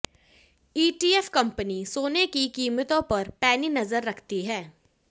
ETF company सोने की कीमतों पर पैनी नजर रखती हैं